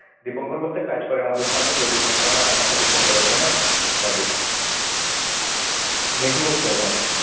দীপঙ্কর বলতে কাজ করে আমাদের সঙ্গে সে দীপঙ্কর না আর একটা দীপঙ্কর আছে না, তাকে। নে কি করছো এখন?